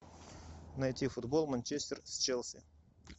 найти футбол манчестер с челси